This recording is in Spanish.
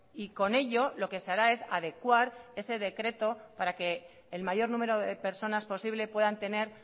y con ello lo que se hará es adecuar ese decreto para que el mayor número de personas posibles puedan tener